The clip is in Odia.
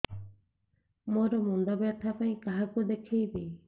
ମୋର ମୁଣ୍ଡ ବ୍ୟଥା ପାଇଁ କାହାକୁ ଦେଖେଇବି